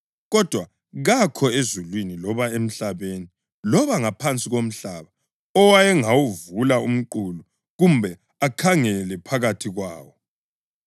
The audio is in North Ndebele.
Kodwa kakho ezulwini loba emhlabeni loba ngaphansi komhlaba owayengawuvula umqulu kumbe akhangele phakathi kwawo.